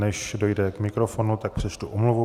Než dojde k mikrofonu, tak přečtu omluvu.